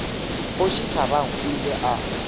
kgoši thabang o ile a